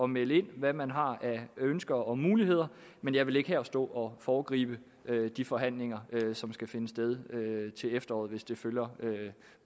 melde ind hvad man har af ønsker og muligheder men jeg vil ikke her stå og foregribe de forhandlinger som skal finde sted til efteråret hvis det følger